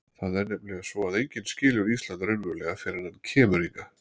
Það er nefnilega svo að enginn skilur Ísland raunverulega fyrr en hann kemur hingað.